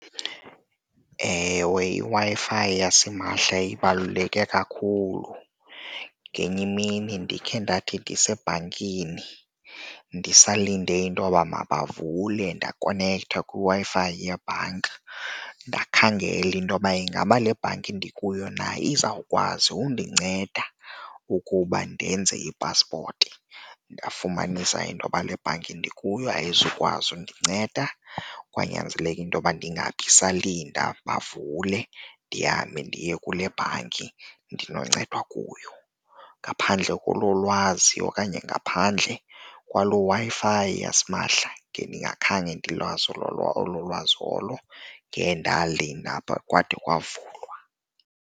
Ewe, iWi-Fi yasimahla ibaluleke kakhulu. Ngenye imini ndikhe ndathi ndisetshe bhankini ndisalinde intoba makavule ndakonektha kwiWi-Fi yebhanka ndakhangela intoba ingaba le bhanki ndikuyo na izawukwazi undinceda ukuba ndenze ipaspoti. Ndafumanisa intoba lebhanki ndikuyo ayizukwazi undinceda kwanyanzeleka intoba ndingabisalinda bavule, ndihambe ndiye kule bhanki ndinoncedwa kuyo. Ngaphandle kolo lwazi okanye ngaphandle kwaloo Wi-Fi yasimahla, ngendingakhange ndilwazo olo olo lwazi olo, ngendalinda phaa kwade kwavulwa.